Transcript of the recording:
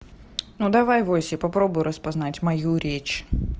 ну давай войси попробуй распознать мою речь